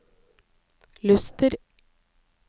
Luster